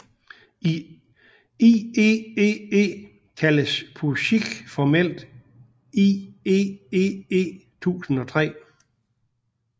I IEEE kaldes POSIX formelt IEEE 1003